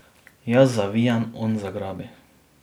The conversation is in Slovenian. Jaz zavijem, on zagrabi.